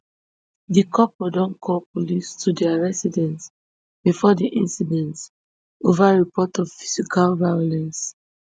di couple don call police to dia residence bifor di incident ova report of physical violence